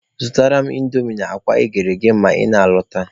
Zụtara m indomi na akwa eghere eghe ma ị na-alọta.